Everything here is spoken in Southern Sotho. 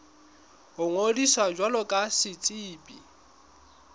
ho ngodisa jwalo ka setsebi